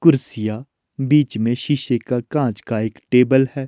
कुर्सियां बीच में शीशे का कांच का एक टेबल है।